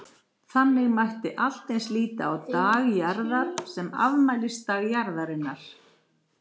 Þannig mætti allt eins líta á Dag Jarðar sem afmælisdag Jarðarinnar.